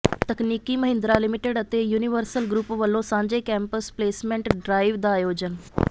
ਤਕਨੀਕੀ ਮਹਿੰਦਰਾ ਲਿਮਟਿਡ ਅਤੇ universal group ਵੱਲੋਂ ਸਾਂਝੇ ਕੈਂਪਸ ਪਲੇਸਮੈਂਟ ਡਰਾਇਵ ਦਾ ਆਯੋਜਨ